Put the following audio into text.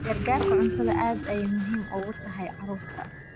Gargaarka cuntadu aad ayey muhiim ugu tahay carruurta.